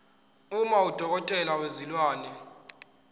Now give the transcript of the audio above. uma udokotela wezilwane